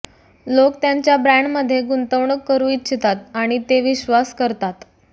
लोक त्यांच्या ब्रॅण्डमध्ये गुंतवणूक करू इच्छितात आणि ते विश्वास करतात